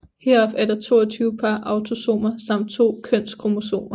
Heraf er der 22 par autosomer samt 2 kønskromosomer